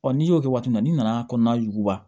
n'i y'o kɛ waati min na n nana kɔnɔna juguba